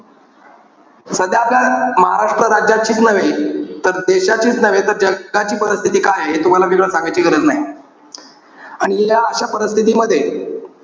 सध्या आपल्या महाराष्ट्र राज्याचीच नव्हे तर देशाचीच नव्हे तर जगाची परिस्थिती काय आहे, हे मी तूम्हाला सांगायची गरज नाही. आणि या अशा परिस्थिती मध्ये,